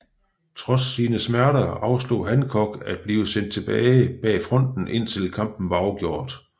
Trods sine smerter afslog Hancock at blive sendt tilbage bag fronten indtil kampen var afgjort